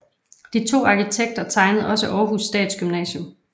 De to arkitekter tegnede også Århus Statsgymnasium